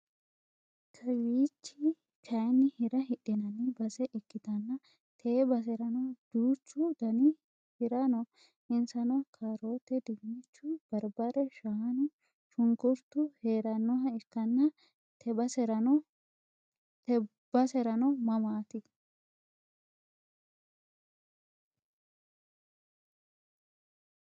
Kawiichchi kaayiini Hira hidhinanni base ikkitanna te baserano duuchchu Dani Hira no insano kaaroote diinnichu barbare shaanuna shunkkurttu heerannoha ikkanna te baserano mamaat?